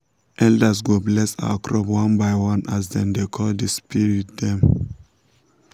elders go bless our crops one by one as dem dey call the spirit dem.